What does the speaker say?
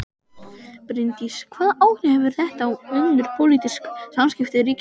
Bryndís: Hvaða áhrif hefur þetta á önnur pólitísk samskipti ríkjanna?